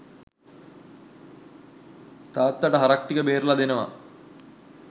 තාත්තට හරක් ටික බේරල දෙනව.